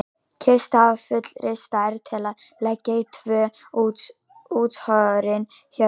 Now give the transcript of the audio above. Kistu af fullri stærð til að leggja í tvö útskorin hjörtu.